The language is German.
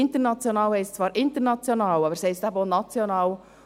International heisst zwar international, aber es heisst eben auch national.